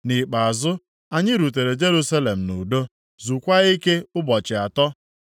Nʼikpeazụ, anyị rutere Jerusalem nʼudo, zukwaa ike ụbọchị atọ.